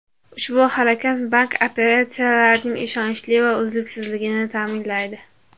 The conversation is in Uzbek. Ushbu harakat bank operatsiyalarining ishonchli va uzluksizligini ta’minlaydi.